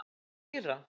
Og hvað með Íra?